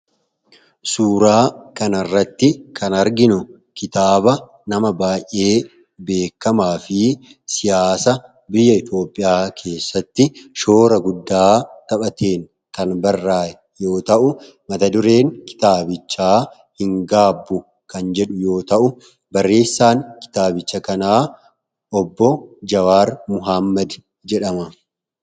suuraa kan arratti kan arginu kitaaba nama baay'ee beekamaa fi siyaasa biyya itioopiyaa keessatti shoora guddaa taphateen kan barraa yoo ta'u mata dureen kitaabichaa hin gaabu kan jedhu yoo ta'u barreessaan kitaabicha kanaa obbo jawaar muhammadi jedhama